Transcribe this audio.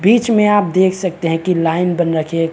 बिच में आप देख सकते है की लाइन बन रखे है।